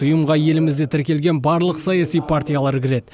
ұйымға елімізде тіркелген барлық саяси партиялар кіреді